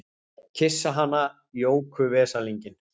Kyssa hana Jóku veslinginn!